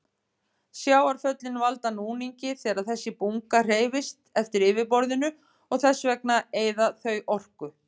Sjávarföllin valda núningi þegar þessi bunga hreyfist eftir yfirborðinu og þess vegna eyða þau orku.